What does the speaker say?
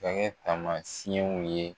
Ka kɛ tamasiyɛw ye.